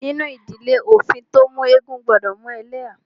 Nínú ìdílé, òfin tí o mú eégún gbọdọ mú ẹlẹ́há.